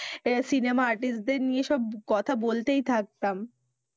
Cinema artist দের নিয়ে সব কথা বলতেই থাকতাম।